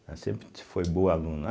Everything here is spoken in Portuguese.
Ela sempre foi boa aluna.